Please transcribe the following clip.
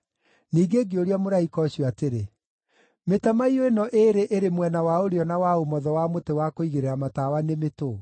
Ningĩ ngĩũria mũraika ũcio atĩrĩ, “Mĩtamaiyũ ĩno ĩĩrĩ ĩrĩ mwena wa ũrĩo na wa ũmotho wa mũtĩ wa kũigĩrĩra tawa nĩ mĩtũũ?”